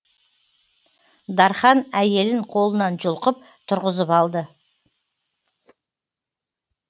дархан әйелін қолынан жұлқып тұрғызып алды